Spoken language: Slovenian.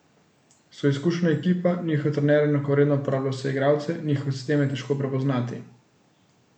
So izkušena ekipa, njihov trener enakovredno uporablja vse igralce, njihov sistem je težko prepoznati.